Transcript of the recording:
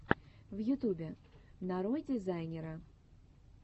в ютубе нарой дизайнера